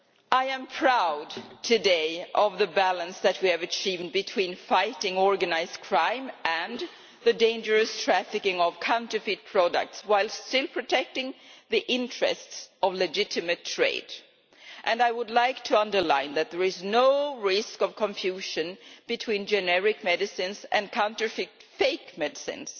I am proud today of the balance that we have achieved between fighting organised crime and the dangerous trafficking of counterfeit products, and protecting the interests of legitimate trade. I would like to stress that there is no risk of confusion between generic medicines and counterfeit, fake medicines.